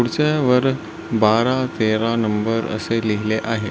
खुर्च्यांवर बारा तेरा अशे नंबर लिहिले आहे.